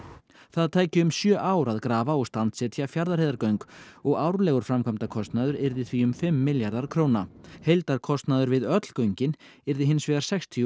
það tæki um sjö ár að grafa og standsetja Fjarðarheiðargöng og árlegur framkvæmdakostnaður yrði því um fimm milljarðar króna heildarkostnaður við öll göngin yrði hins vegar sextíu